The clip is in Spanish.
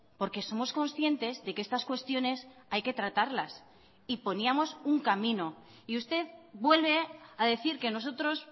porque somos conscientes de que estas cuestiones hay que tratarlas y poníamos un camino y usted vuelve a decir que nosotros